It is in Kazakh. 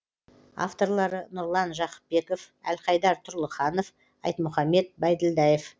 авторлары нұрлан жақыпбеков әлхайдар тұрлыханов айтмұхаммед байділдаев